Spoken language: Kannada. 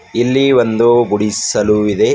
ಇಲ್ಲಿ ಒಂದು ಗುಡಿಸ್ ಸಲು ಇದೆ.